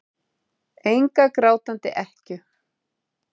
Enga grátandi ekkju.